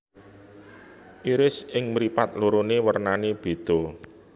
Iris ing mripat lorone wernane bedha